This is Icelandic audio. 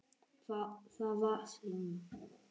Það var sýn.